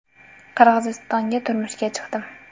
Qirg‘izistonga turmushga chiqdim.